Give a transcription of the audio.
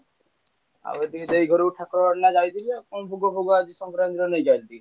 ଆଉ ଟିକେ ଦେଇ ଘରୁ ଯାଇଥିଲି କଣ ଭୋଗ ଫୋଗ ଆଜି ସଂକ୍ରାନ୍ତି ବୋଲି ନେଇକି ଆଇଛି।